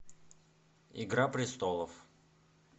игра престолов